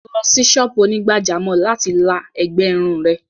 Lọ sí sọ́ọ̀bù onígbàjámọ̀ láti la ẹ̀gbẹ́ irun rẹ̀!